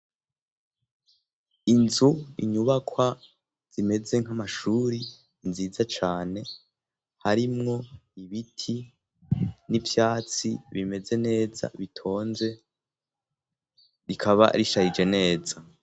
inzu inyubakwa zimeze nk'amashuri nziza cane harimwo ibiti n'ivyatsi bimeze neza bitonze rikaba rishayije neza